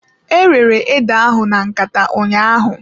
E rere ede ahụ na nkata ụnyaahụ.